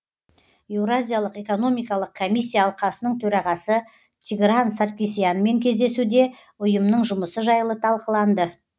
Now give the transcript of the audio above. еуразиялық экономикалық комиссия алқасының төрағасы тигран саркисянмен кездесуде ұйымның жұмысы жайлы талқыланды